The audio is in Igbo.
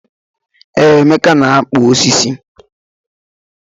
Ee, Emeka na-akpụ osisi.